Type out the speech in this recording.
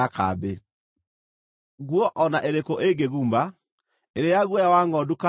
“Nguo o na ĩrĩkũ ĩngĩguma, ĩrĩ ya guoya wa ngʼondu kana ya gatani,